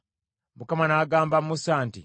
Mukama n’agamba Musa nti,